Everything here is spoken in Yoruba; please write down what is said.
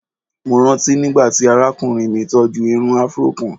Mo ranti nigbati arakunrin mi tọju irun afro kan.